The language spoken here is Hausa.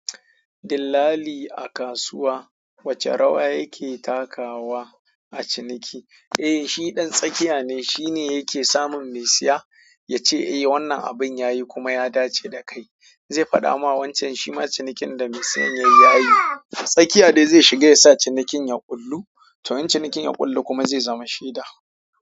Dillali a kasuwa, wacce rawa yake takawa a ciniki? Eh, shi ɗan tsakiya ne, shine yake samun mai siya, ya ce, "Eh wannan abin yayi kuma ya dace da kai." Zai faɗa ma wancan shi ma cinikin da mai siyan yayi ya yi. Tsakiya dai zai shiga ya sa cinikin ya ƙullu, to in cinikin ya ƙullu kuma zai zama shida.